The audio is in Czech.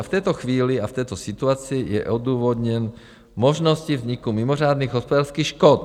A v této chvíli a v této situaci je odůvodnění možnost vzniku mimořádných hospodářských škod.